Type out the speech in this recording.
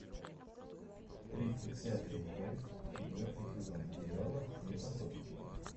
тридцать пятая часть четвертый сезон сериала склифосовский